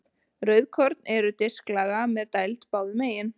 Rauðkorn eru disklaga með dæld báðum megin.